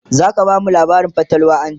zaka bamu labarin fatalwa anjima?